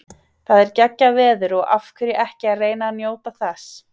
Það er geggjað veður og af hverju ekki að reyna að njóta þess.